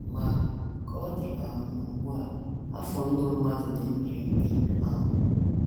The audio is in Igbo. Ma, ka ọ dị um ugbu a, afọ ndụ mmadụ dị mkpirikpi. um